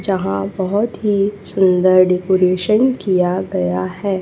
यहां बहुत ही सुंदर डेकोरेशन किया गया है।